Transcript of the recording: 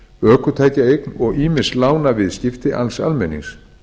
ökutækjaeign og ýmis lánaviðskipti alls almennings